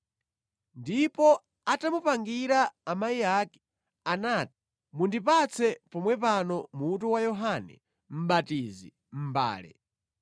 Ndipo atamupangira amayi ake anati, “Mundipatse pomwe pano mutu wa Yohane Mʼbatizi mʼmbale.”